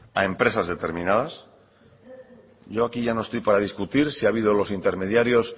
a empresas determinadas yo aquí ya no estoy para discutir si ha habido los intermediarios